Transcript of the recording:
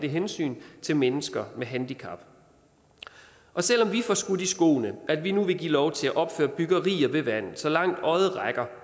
hensyn til mennesker med handicap selv om vi får skudt i skoene at vi nu giver lov til at opføre byggerier ved vandet så langt øjet rækker